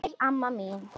Sæl, amma mín.